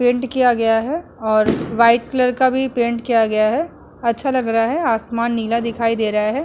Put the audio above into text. Paint किया गया है और वाइट कलर का भी पेंट किया गया है। अच्छा लग रहा है। आसमान नीला दिखाई दे रहा है।